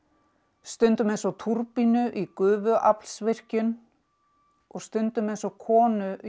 stundum eins og túrbínu í gufuaflsvirkjun og stundum eins og konu í